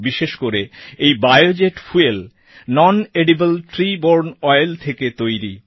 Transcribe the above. বিশেষ করে এই biojet fuel non edible tree borne oil থেকে তৈরি